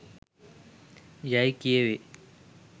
යැයි කියැවේ.